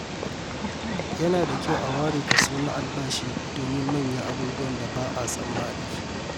Yana da kyau a ware kaso na albashi domin manyan abubuwan da ba a tsammani.